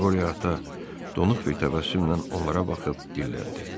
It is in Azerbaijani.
Qoryata donuq bir təbəssümlə onlara baxıb dilləndi.